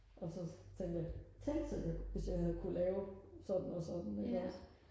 og så tænker jeg tænk sig hvis jeg havde kunne lave sådan og sådan ikke også